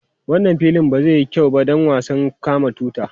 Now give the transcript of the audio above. Wannan filin wasan ba zai yi kyau ba don wasan kama tuta.